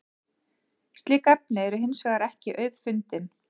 slík efni eru hins vegar ekki auðfundin